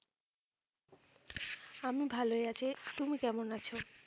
আমি ভালোই আছি, তুমি কেমন আছো?